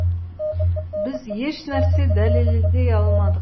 біз еш нәрсе дәлелдей алмадық